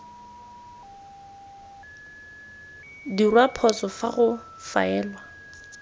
dirwa phoso fa go faelwa